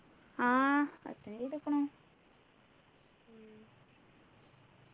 ആഹ് attend ചെയ്തുക്കുണു